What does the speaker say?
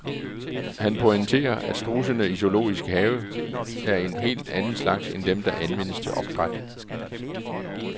Han pointerer, at strudsene i zoologisk have er en helt anden slags end dem, der anvendes til opdræt.